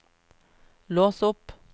lås opp